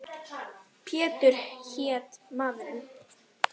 Pétur hét maður.